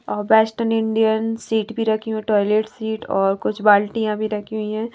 अ western Indian seat भी रखी हों टॉयलेट सीट और कुछ बाल्टियां भी रखी हुई हैं।